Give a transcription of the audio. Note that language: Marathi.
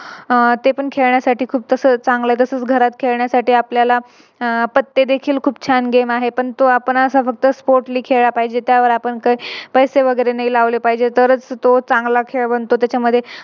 अह खेळण्यासाठी खूप तस चांगल तस घरात खेळण्यासाठी आपल्याला पत्ते देखील खूप छान Game आहे आपण तो असा Sportly खेळला पाहिजे त्यावर आपण काही पैसे वगैरे नाही लावले पाहिजे तरच तो चांगला खेळ बनतो. त्याच्यामध्ये